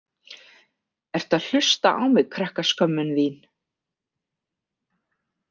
Ertu að hlusta á mig, krakkaskömmin þín?